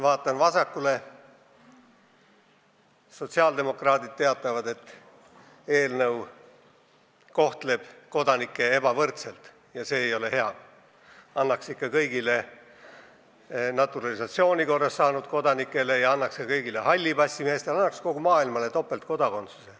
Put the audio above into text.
Vaatan vasakule: sotsiaaldemokraadid teatavad, et eelnõu kohtleb kodanikke ebavõrdselt ja see ei ole hea – annaks topeltkodakondsuse ikka kõigile, naturalisatsiooni korras kodakondsuse saanutele ja ka kõigile halli passi meestele, kogu maailmale.